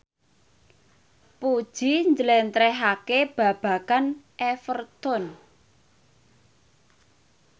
Puji njlentrehake babagan Everton